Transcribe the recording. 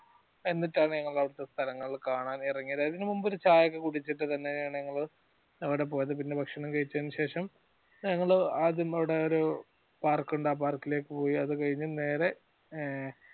എന്നിട്ടാണ് ഞങ്ങൾ അവിടെത്തെ സ്ഥലങ്ങൾ കാണാൻ എറങ്ങീത് അതിന് മുമ്പ് ഒരു ചായ ഒക്കെ കുടിച്ചിട്ട് പിന്നെ ഞങ്ങള്‍ അവടെ പോയത് പിന്നെ ഭക്ഷണം കഴിച്ചേന് ശേഷം ഞങ്ങള് ആദ്യം അവടെ ഒരു park ഉണ്ട് അ park ഇലേക്ക് പോയി അത് കഴിഞ്ഞ് നേരെ ഏർ